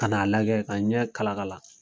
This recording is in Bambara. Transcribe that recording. Kana n'a lajɛ ka n ɲɛ kalakala.